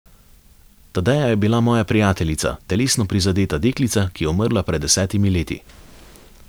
Tadeja je bila moja prijateljica, telesno prizadeta deklica, ki je umrla pred desetimi leti.